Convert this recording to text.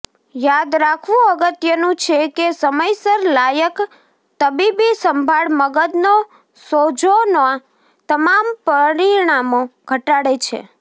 યાદ રાખવું અગત્યનું છે કે સમયસર લાયક તબીબી સંભાળ મગજનો સોજોના તમામ પરિણામો ઘટાડે છે